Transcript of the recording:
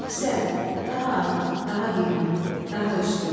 Əfzəl, daha artıq, daha qiymətli, daha üstün.